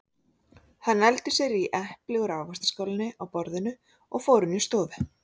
Hann nældi sér í epli úr ávaxtaskálinni á borðinu og fór inn í stofu.